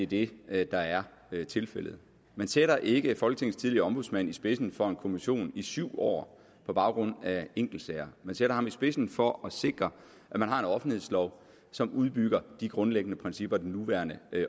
det er det der er tilfældet man sætter ikke folketingets tidligere ombudsmand i spidsen for en kommission i syv år på baggrund af enkeltsager man sætter ham i spidsen for at sikre at man har en offentlighedslov som udbygger de grundlæggende principper den nuværende